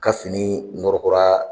Ka fini nɔrɔkɔra